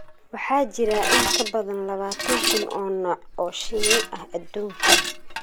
Waxaa jira in ka badan labaatan kun oo nooc oo shinni ah adduunka.